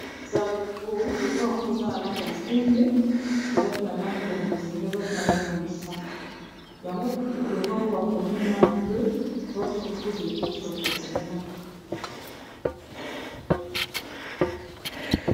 Eza logo. Logo yango eza na langi ya pembe, eza pe na langi ya bozinga, eza pe na langi ya mosaka, yango logo yango bakomi main bleue votre coup de pouse au quotidien.